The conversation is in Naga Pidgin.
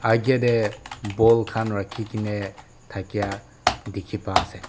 age te ball khan rakhikene thakia dikhi pai ase.